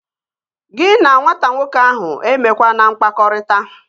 Gị na nwata nwoke ahụ emekwana mkpakọrịta!